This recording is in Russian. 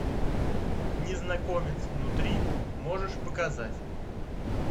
незнакомец внутри можешь показать